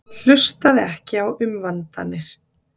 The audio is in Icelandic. Hann hlustaði ekki á umvandanir.